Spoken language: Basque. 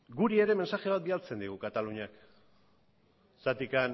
guri ere mezu bat bidaltzen digu kataluniak zergatik